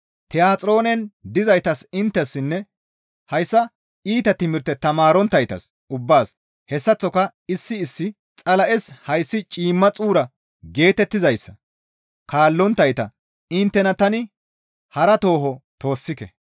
«Tiyaxiroonen dizaytas inttessinne hayssa iita timirteza tamaaronttaytas ubbaas hessaththoka issi issi, ‹Xala7es hayssi ciimma xuura› geetettizayssa kaallonttayta inttena tani hara tooho toossike.